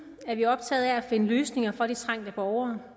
er vi optaget af at finde løsninger for de trængte borgere